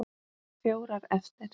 Fjórar eftir.